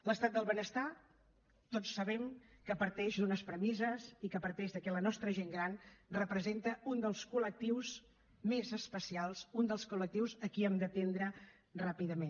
l’estat del benestar tots sabem que parteix d’unes premisses i que parteix que la nostra gent gran representa un dels col·lectius més especials un dels col·lectius a qui hem d’atendre ràpidament